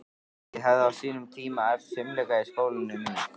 Ég hafði á sínum tíma æft fimleika í skólanum í